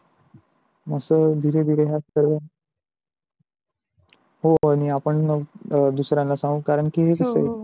अस धिरे धिरे हा सर्व हो आणि आपण दुसहऱ्याला सांगू कारण की कस आहे.